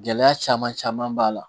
Gɛlɛya caman caman b'a la